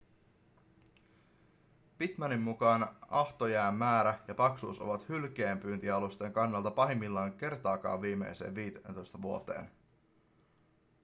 pittmanin mukaan ahtojään määrä ja paksuus ovat hylkeenpyyntialusten kannalta pahimmillaan kertaakaan viimeisteen 15 vuoteen